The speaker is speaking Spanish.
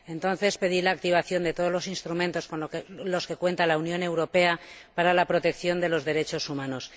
Entonces, pedí la activación de todos los instrumentos con los que contaba la Unión Europea para la protección de los derechos humanos.